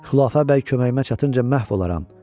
Xülafə bəy köməyimə çatınca məhv olaram.